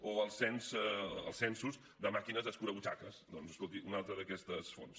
o els censos de màquines escurabutxaques doncs escolti una altra d’aquestes fonts